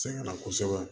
Sɛŋɛ na kosɛbɛ